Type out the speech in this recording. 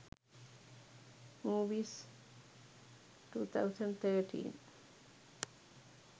movies 2013